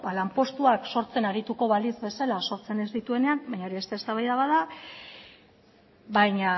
lanpostuak sortzen arituko balitz bezala sortzen ez dituenean baina hori beste eztabaida bat da baina